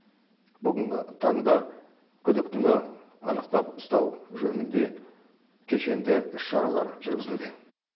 бүгінгі таңда күдіктіні анықтап ұстау жөнінде кешенді іс шаралар жүргізілуде